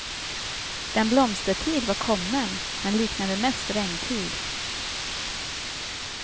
Den blomstertid var kommen men liknade mest regntid.